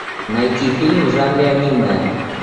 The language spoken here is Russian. найти фильмы в жанре аниме